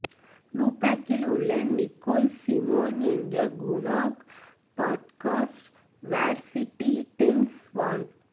லுபெக்கில் உள்ள Nicole Simone என்ற குனாக் பாட்காஸ்ட் வெர்சீடீடென்ஸ் வான்